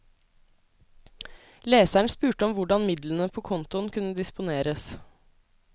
Leseren spurte om hvordan midlene på kontoen kunne disponeres.